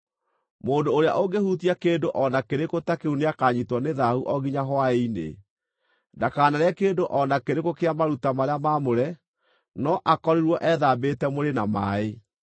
Mũndũ ũrĩa ũngĩhutia kĩndũ o na kĩrĩkũ ta kĩu nĩakanyiitwo nĩ thaahu o nginya hwaĩ-inĩ. Ndakanarĩe kĩndũ o na kĩrĩkũ kĩa maruta marĩa maamũre, no akorirwo ethambĩte mwĩrĩ na maaĩ.